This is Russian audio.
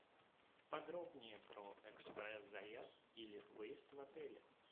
подробнее про экспресс заезд или выезд в отеле